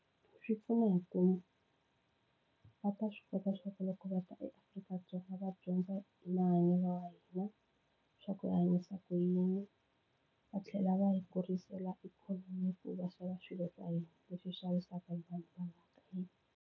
Swi pfuna hi ku va ta swi kota swa ku loko vata eAfrika-Dzonga va dyondza mahanyelo wa hina swa ku hi hanyisa ku yini va tlhela va hi kurisela ikhonomi hi ku va xava swilo swa hina leswi xavisaka hi vanhu va la ka hina.